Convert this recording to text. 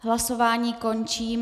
Hlasování končím.